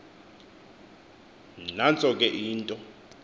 nantso ke into